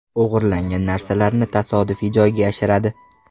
O‘g‘irlangan narsalarni tasodifiy joyga yashiradi.